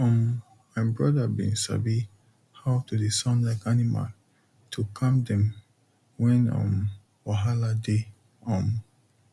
um my brother bin sabi how to dey sound like animal to calm dem when um wahala dey um